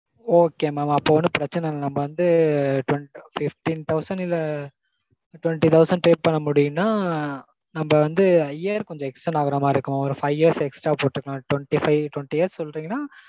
okay mam அப்போ ஒன்னும் பிரச்சினை இல்ல. நம்ம வந்து fifteen thousand இல்ல twenty thousand pay பண்ண முடியும்னா நம்ம வந்து year கொஞ்சம் extend ஆகற மாதிரி இருக்கும் mam ஒரு five years extra போட்டுக்கலாம் twenty-five twenty years சொல்றீங்கனா